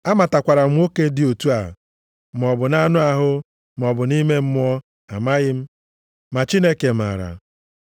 Amatakwara m nwoke dị otu a, maọbụ nʼanụ ahụ, maọbụ nʼime mmụọ amaghị m, ma Chineke maara